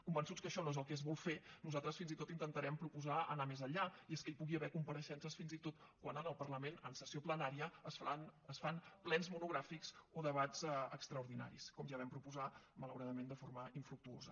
convençuts que això no és el que es vol fer nosaltres fins i tot intentarem proposar anar més enllà i és que hi pugui haver compareixences fins i tot quan en el parlament en sessió plenària es fan plens monogràfics o debats extraordinaris com ja vam proposar malauradament de forma infructuosa